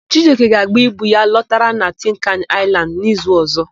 Chijioke ga-agba ibu ya lọtara na Tinkani Aịlandị n'izu ọ̀zọ́.